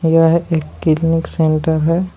यह एक clinic center है।